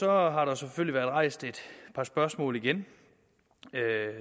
har har der selvfølgelig været rejst et par spørgsmål igen